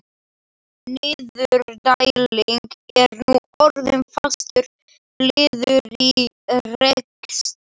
Niðurdæling er nú orðin fastur liður í rekstri